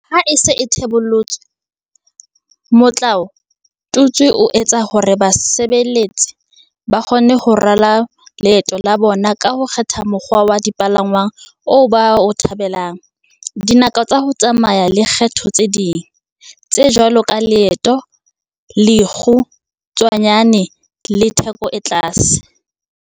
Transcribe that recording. Ha e se e thebollotswe, motlao tutswe o etsa hore basebedisi ba kgone ho rala leeto la bona ka ho kgetha mokgwa wa dipalangwang oo ba o thabelang, dinako tsa ho tsamaya le kgetho tse ding, tse jwalo ka leeto le lekgu tshwanyane le le theko e tlase.